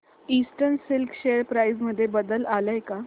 eastern Silk share price मध्ये बदल आलाय का